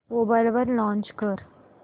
mobile वर launch कर